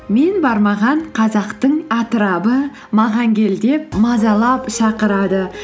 мен бармаған қазақтың атырабы маған кел деп мазалап шақырады